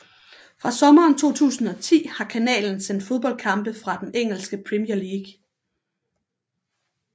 Fra sommeren 2010 har kanalen sendt fodboldkampe fra den engelske Premier League